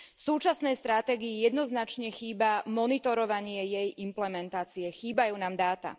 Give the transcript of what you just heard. Súčasnej stratégii jednoznačne chýba monitorovanie jej implementácie, chýbajú nám dáta.